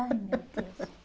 Ai meu Deus.